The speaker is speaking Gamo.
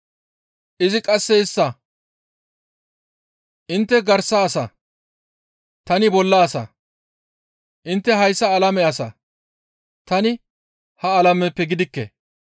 Izi qasse istta, «Intte garsa asa; tani bolla asa; intte hayssa alame asa; tani ha alameppe gidikke.